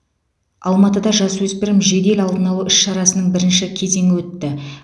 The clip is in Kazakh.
алматыда жасөспірім жедел алдын алу іс шарасының бірінші кезеңі өтті